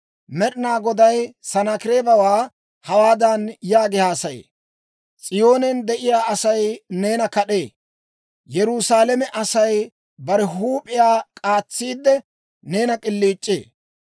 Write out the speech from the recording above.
Med'inaa Goday Sanaakireebawaa hawaadan yaagi haasaye: «S'iyoonen de'iyaa Asay neena kad'ee; Yerusaalame Asay bare huup'iyaa k'aatsiide, neena k'iliic'ee.